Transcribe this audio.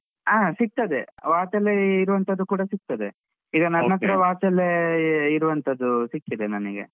ಆ ಸಿಕ್ತದೆ watch ಅಲ್ಲೇ ಇರುವಂತದ್ದು ಕೂಡ ಸಿಕ್ತದೆ. watch ಅಲ್ಲೇ ಇರುವಂತದ್ದು ಸಿಕ್ಕಿದೆ ನನಿಗೆ.